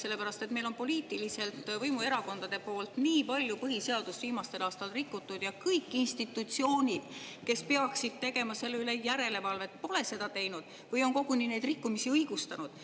Sellepärast et meil on poliitiliselt võimuerakonnad viimastel aastatel nii palju põhiseadust rikkunud ja kõik institutsioonid, kes peaksid tegema selle üle järelevalvet, pole seda teinud või on koguni neid rikkumisi õigustanud.